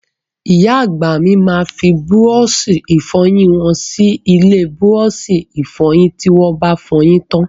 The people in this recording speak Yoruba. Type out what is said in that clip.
Ìyá àgbà mi máa fi búrọ́ọ̀ṣì ìfọyín wọn sínú ilé búrọ́ọ̀ṣì ìfọyín tí wọ́ ba fọyín tán.